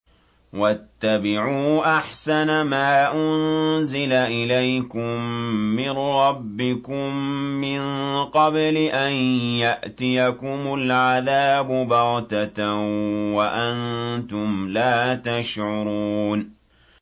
وَاتَّبِعُوا أَحْسَنَ مَا أُنزِلَ إِلَيْكُم مِّن رَّبِّكُم مِّن قَبْلِ أَن يَأْتِيَكُمُ الْعَذَابُ بَغْتَةً وَأَنتُمْ لَا تَشْعُرُونَ